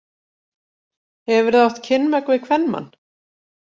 Hefurðu átt kynmök við kvenmann?